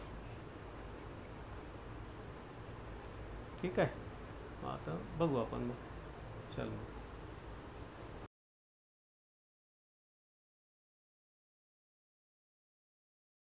ठीक आहे. मग आता बघू आपण मग.